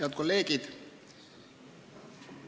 Head kolleegid!